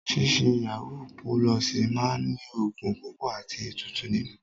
Ṣíṣe yàwúú pulọ̀ọ̀sì máa ní ògùn púpọ̀ àti ètùtù nínú.